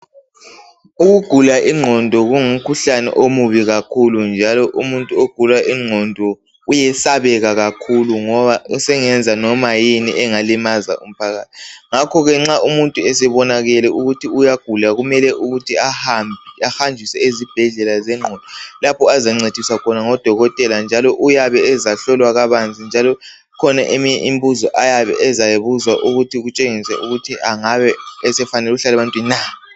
Ukugula ingqondo kungumkhuhlane omubi kakhulu njalo umuntu ogula umkhuhlane wengqondo uyesabeka kakhulu ngoba sengemza noma yini engalimaza umphakathi ngakho ke nxa umuntu esebonakele ukuthi uyagula kumele ukuthi ahambe ahanjiswe ezibhedlela zengqondo lapho azancediswa khona ngodokotela njalo uyabe ezahlolwa kabanzi njalo ikhona eminye imibuzo maybe ezayibuzwa ukuthi kutshengise ukuthi angabe sefanele ukuhlola ebantwini na